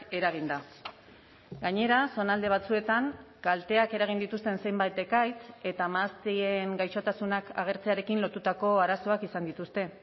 eraginda gainera zonalde batzuetan kalteak eragin dituzten zenbait ekaitz eta mahastien gaixotasunak agertzearekin lotutako arazoak izan dituzte